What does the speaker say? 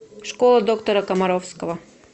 школа доктора комаровского